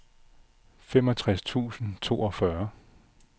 femogtres tusind og toogfyrre